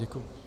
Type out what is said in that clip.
Děkuji.